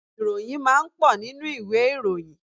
Ìròyìn máa ń pọ̀ nínú ìwé ìròyìn.